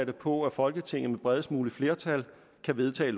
på at folketinget med det bredest mulige flertal kan vedtage